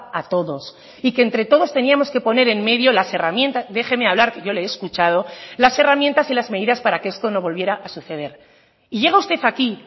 a todos y que entre todos teníamos que poner en medio las herramientas déjeme hablar que yo le he escuchado las herramientas y las medidas para que esto no volviera a suceder y llega usted aquí